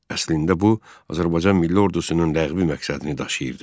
Əslində bu Azərbaycan milli ordusunun ləğvi məqsədini daşıyırdı.